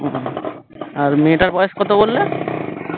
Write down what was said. আর মেয়েটার বয়স কত বললে?